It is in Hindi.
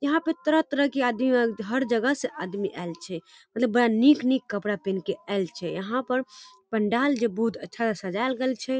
यहाँ पे तरह-तरह के आदमी ऐल हर जगह से आदमी ऐल छै। मतलब बड़ा नीक-नीक कपड़ा पिन्ह के ऐल छै। यहाँ पर पंडाल जे बहुत अच्छा से सजाल गैल छै।